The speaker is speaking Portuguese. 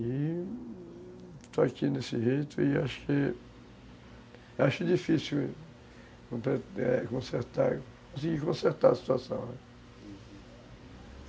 E estou aqui nesse jeito e acho que, acho difícil consertar, conseguir consertar a situação, né. Uhum.